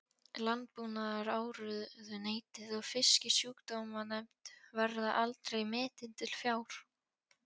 Landbúnaðarráðuneytið og Fisksjúkdómanefnd, verða aldrei metin til fjár.